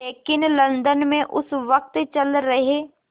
लेकिन लंदन में उस वक़्त चल रहे